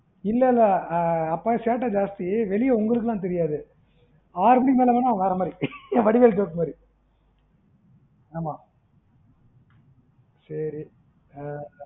இல்ல இல்ல ஆஹ் அப்பா சேட்டை ஜாஸ்தி வெளிய உங்களுக்குலாம் தெரியாது ஆறு மணிக்கு மேல போனா அவன் வேறமாறி வடிவேல் joke மாறி ஆமா சேரி ஆஹ்